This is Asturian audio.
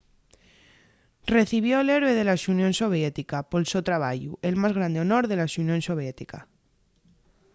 recibió'l héroe de la xunión soviética” pol so trabayu el más grande honor de la xunión soviética